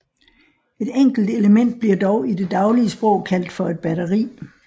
Et enkelt element bliver dog i det daglige sprog kaldt for et batteri